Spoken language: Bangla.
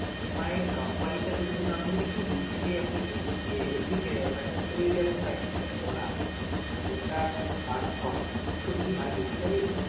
EMI এর company টা যেটা ধরুন আপনি যদি LP থেকে আপনি এ~ LP finance এ যদি finance টা করান যদি loan টা pass হয় তো কি হয় basically